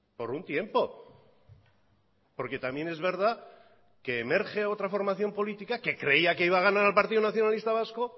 por un tiempo porque también es verdad que emerge otra formación política que creía que iba a ganar al partido nacionalista vasco